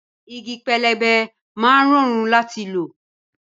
Igi pẹlẹbẹ máa ń rọrùn láti lò